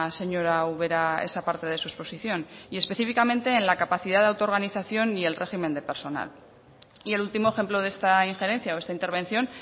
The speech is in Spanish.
señora ubera esa parte de su exposición y específicamente en la capacidad de auto organización y el régimen de personal y el último ejemplo de esta injerencia o esta intervención